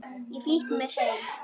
Ég flýtti mér heim.